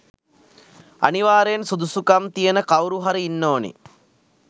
අනිවාර්යෙන් සුදුසුකම්තියෙන කවුරු හරි ඉන්න ඕන.